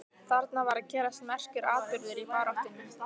Þarna var að gerast merkur atburður í baráttunni.